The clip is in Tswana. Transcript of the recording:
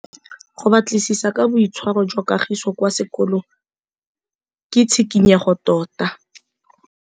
Go batlisisa ka boitshwaro jwa Kagiso kwa sekolong ke tshikinyêgô tota.